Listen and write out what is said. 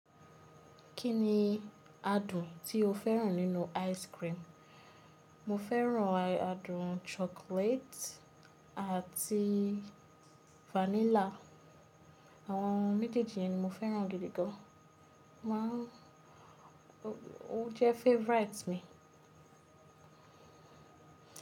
Kí ni adùn tí o féràn nínú ice cream? Mo féràn adùn chocolate àti vanilla. Àwọn méjèèjì ni mo féràn gidi gan. Wọ́n jẹ́ favourite mi.